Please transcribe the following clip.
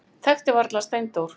Þekkti varla Steindór.